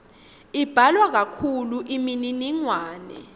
imbalwa kakhulu imininingwane